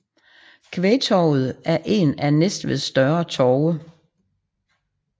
Kvægtorvet er en af Næstveds større torve